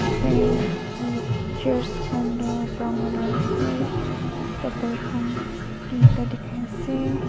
fan aru chairs khan toh brown colour ase table khan teenta dikhai ase.